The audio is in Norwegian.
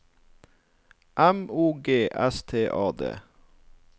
M O G S T A D